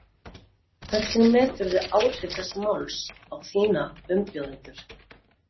Jóhann: Hvernig meturðu áhrif þessa máls á þína umbjóðendur?